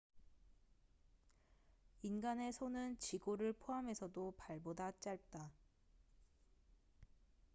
인간의 손은 지골을 포함해서도 발보다 짧다